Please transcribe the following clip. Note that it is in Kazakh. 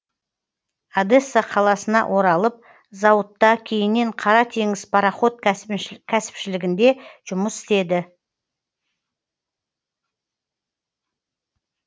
одесса қаласына оралып зауытта кейіннен қара теңіз пароход кәсіпшілігінде жұмыс істеді